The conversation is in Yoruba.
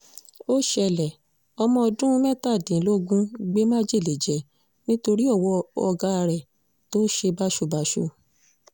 ó ṣẹlẹ̀ ọmọọ̀dún mẹ́tàdínlógún gbé májèlé jẹ nítorí owó ọ̀gá rẹ̀ tó ṣe báṣubàṣu